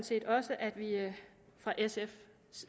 set også at vi fra sfs